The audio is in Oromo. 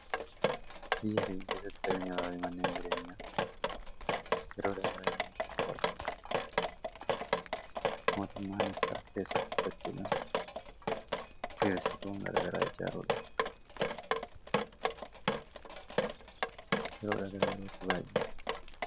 biyya keenya keessatti qabenya lafafi manneen jireenyaa yeroodha gara yerootti baaya'achaa jiru mootummaanis harka keessa qabachuudhan irasitoon gara garaa jechaakoodha yeroodha gara yerootti baay'ate